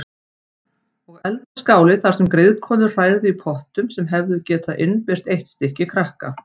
Og eldaskáli þar sem griðkonur hrærðu í pottum sem hefðu getað innbyrt eitt stykki krakka.